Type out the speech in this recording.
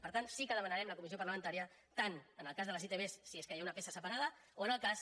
per tant sí que demanarem la comissió parlamentària tant en el cas de les itv si es que hi ha una peça separada o en el cas